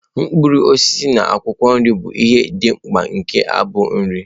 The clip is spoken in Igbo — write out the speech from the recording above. Mkpụrụ osisi na akwụkwọ nri bụ ihe dị mkpa nke agbụ nri.